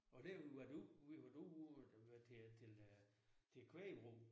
Og der hvor vi har været ude vi har været ude hvor at øh det var til til øh til kvægbrug